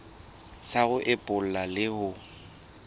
sa ho epolla le ho